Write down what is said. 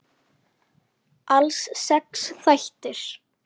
Alls sex þættir.